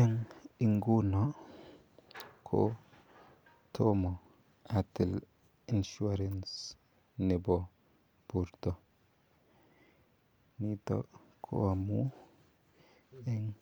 Eng' nguno ko toma atil insurance nepo porto. Nitok ko amu eng'